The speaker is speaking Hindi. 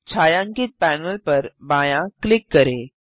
छायांकित पैनल पर बायाँ क्लिक करें